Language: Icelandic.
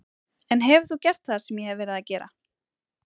En hefur þú gert það sem ég hef verið að gera?